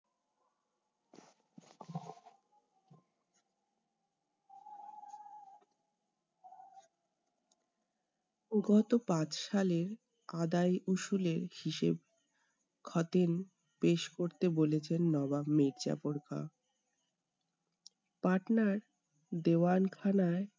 গত পাঁচ সালে আদায় উসুলে হিসেব খতিয়ান পেশ করতে বলেছেন নবাব মীরজাফর খাঁ। পাটনার দেওয়ান খানায়